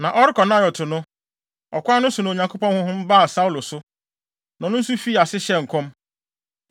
Na ɔrekɔ Naiot no, ɔkwan no so na Onyankopɔn honhom baa Saulo so, na ɔno nso fii ase hyɛɛ nkɔm.